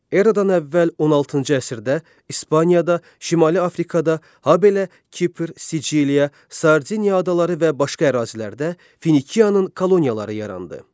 Erada əvvəl 16-cı əsrdə İspaniyada, Şimali Afrikada, habelə Kipr, Siciliya, Sardiniya adaları və başqa ərazilərdə Finikiyanın koloniyaları yarandı.